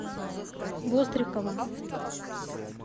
вострикова